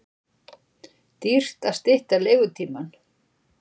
Dýrt að stytta leigutímann